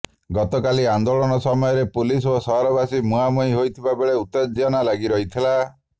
ଗତ କାଲି ଆନ୍ଦୋଳନ ସମୟରେ ପୁଲିସ ଓ ସହରବାସୀ ମୁହାଁମୁହିଁ ହୋଇଥିବା ବେଳେ ଉତ୍ତ୍ୟଜନା ଲାଗି ରହିଥିଲା